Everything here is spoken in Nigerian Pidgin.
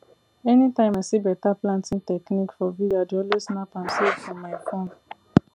anytime i see better planting technique for video i dey always snap am save for my phone